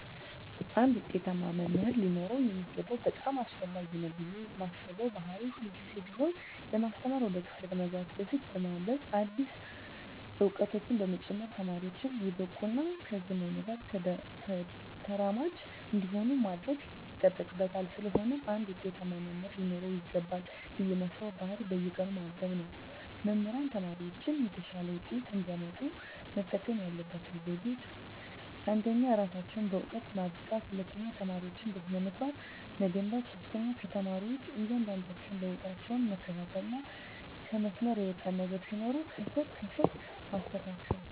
አንድ ውጤታማ መምህር ሊኖረው የሚገባው በጣም አስፈላጊ ነው ብየ ማስበው ባህሪ ሁልግዜም ቢሆን ለማስተማር ወደ ክፍል ከመግባቱ በፊት በማንብበ አዳዲስ እውቀቶችን በመጨመር ተማሪወቹን የበቁ እና ከዘመኑ ጋር ተራማጅ እንዲሆኑ ማድረግ ይጠበቅበታል ስለሆነም አንድ ውጤታማ መምህር ሊኖረው ይገባል ብየ ማስበው ባህሪ በየቀኑ ማንበብ ነው። መምህራን ተማሪወቻቸው የተሻለ ውጤት እንዲያመጡ መጠቀም ያለባቸው ዘዴወች አንደኛ እራሳቸውን በእውቀት ማብቃት፣ ሁለተኛ ተማሪወቻቸውን በስነ-ምግባር መገንባት፣ ሶስተኛ የተማሪወቻቸውን እያንዳንዷን ለውጣቸውን መከታተልና ከመስመር የወጣ ነገር ሲኖር ከስር ከስር ማስተካከል።